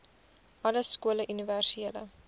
alle skole universele